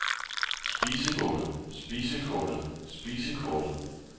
spisekortet spisekortet spisekortet